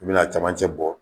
I bi n'a camancɛ bɔ